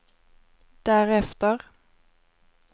därefter